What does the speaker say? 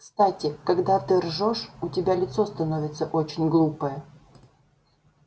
кстати когда ты ржёшь у тебя лицо становится очень глупое